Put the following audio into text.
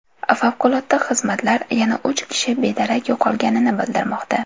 Favqulodda xizmatlar yana uch kishi bedarak yo‘qolganini bildirmoqda.